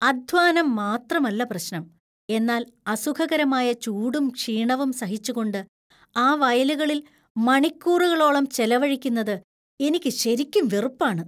അധ്വാനം മാത്രമല്ല പ്രശ്നം, എന്നാൽ അസുഖകരമായ ചൂടും ക്ഷീണവും സഹിച്ചുകൊണ്ട് ആ വയലുകളിൽ മണിക്കൂറുകളോളം ചെലവഴിക്കുന്നത് എനിക്ക് ശരിക്കും വെറുപ്പാണ് .